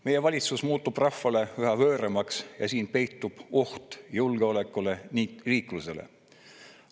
Meie valitsus muutub rahvale üha võõramaks ja selles peitub oht julgeolekule ning riiklusele.